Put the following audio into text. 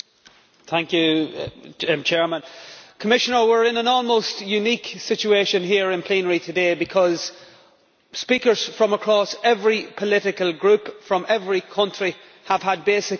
Mr President, we are in an almost unique situation here in plenary today, because speakers from across every political group, from every country, have had basically the same message.